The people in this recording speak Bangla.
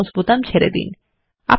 এখন মাউস বোতাম ছেরে দিন